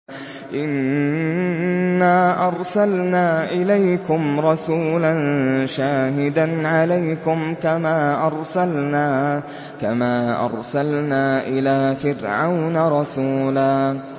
إِنَّا أَرْسَلْنَا إِلَيْكُمْ رَسُولًا شَاهِدًا عَلَيْكُمْ كَمَا أَرْسَلْنَا إِلَىٰ فِرْعَوْنَ رَسُولًا